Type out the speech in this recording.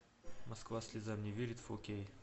москва слезам не верит фо кей